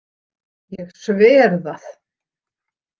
Ég sver það.